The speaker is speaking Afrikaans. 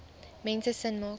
mense sin maak